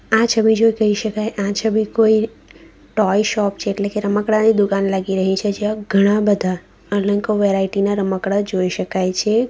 આ છબી જોઈ કેઈ શકાય આ છબી કોઈ ટોય શોપ છે એટલે કે રમકડાની દુકાન લાગી રહી છે જ્યાં ઘણા બધા અનેકો વેરાઈટી ના રમકડા જોઈ શકાય છે.